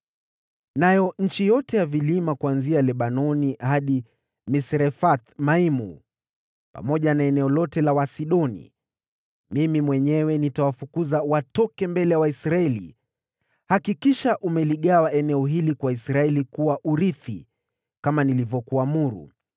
“Na kuhusu wakaaji wote katika maeneo ya milima, kuanzia Lebanoni hadi Misrefoth-Maimu, pamoja na eneo lote la Wasidoni, mimi mwenyewe nitawafukuza watoke mbele ya Waisraeli. Hakikisha umegawa nchi hii kwa Israeli kuwa urithi, kama nilivyokuagiza,